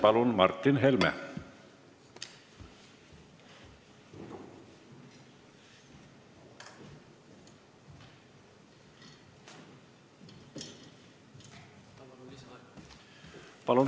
Palun, Martin Helme!